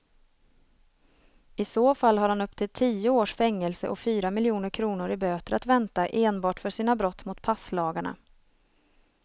I så fall har han upp till tio års fängelse och fyra miljoner kronor i böter att vänta enbart för sina brott mot passlagarna.